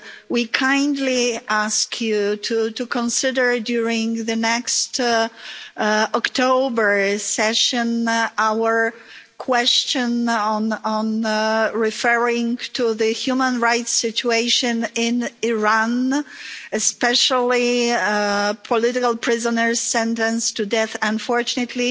We kindly ask you to consider, during the next October part session, our question referring to the human rights situation in Iran, especially political prisoners sentenced to death. Unfortunately,